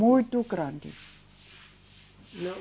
Muito grande. Não